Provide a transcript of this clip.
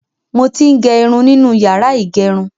Mo ti ń gẹ irun nínú yàrá ìgẹrun.